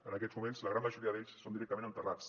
en aquests moments la gran majoria d’ells són directament enterrats